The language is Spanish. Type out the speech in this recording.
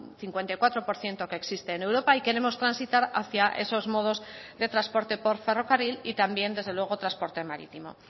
cincuenta y cuatro por ciento que existe en europa y queremos transitar hacia esos modos de transporte por ferrocarril y también desde luego transporte marítimo